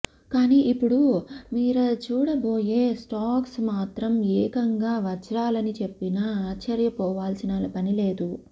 కానీ ఇప్పుడు మీర చూడబోయే స్టాక్స్ మాత్రం ఏకంగా వజ్రాలని చెప్పినా ఆశ్చర్యపోవాల్సిన పనిలేదు